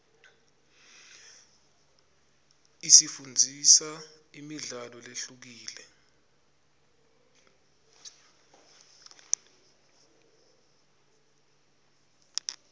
isifundzisa imidlalo lehlukile